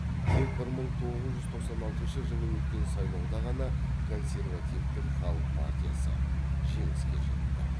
бір мың тоғыз жүз тоқсан алтыншы жылы өткен сайлауда ғана консервативтік халық партиясы жеңіске жетті